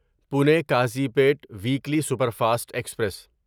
Pune Kazipet weekly superfast express